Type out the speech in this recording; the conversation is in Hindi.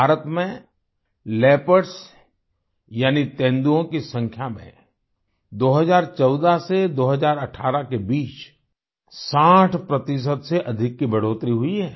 भारत में लियोपार्ड्स यानी तेंदुओं की संख्या में 2014 से 2018 के बीच 60 प्रतिशत से अधिक की बढ़ोतरी हुई है